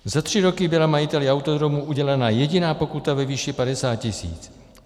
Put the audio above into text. Za tři roky byla majiteli autodromu udělena jediná pokuta ve výši 50 tisíc.